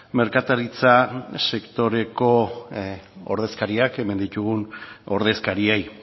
merkataritza sektoreko ordezkariak hemen ditugun ordezkariei